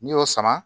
N'i y'o sama